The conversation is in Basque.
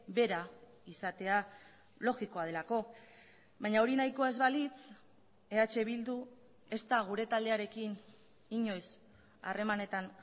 bera izatea logikoa delako baina hori nahikoa ez balitz eh bildu ez da gure taldearekin inoiz harremanetan